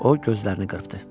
O gözlərini qırpıdı.